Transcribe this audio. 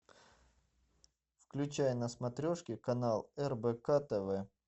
включай на смотрешке канал рбк тв